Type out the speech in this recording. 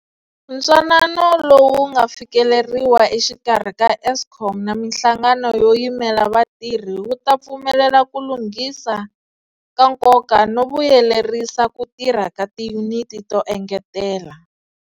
Ntwanano lowu nga fikeleriwa exikarhi ka Eskom na mihlangano yo yimela vatirhi wu ta pfumelela ku lunghisa ka nkoka no vuyelerisa ku tirha ka tiyuniti to engetela.